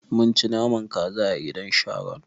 Mun ci naman kaza a gidan Sharon.